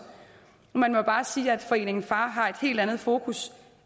og man må bare sige at foreningen far har et helt andet fokus